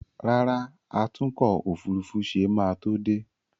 Rárá, atúnkò òfurufú ṣe máa tó dé